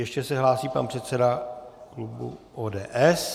Ještě se hlásí pan předseda klubu ODS.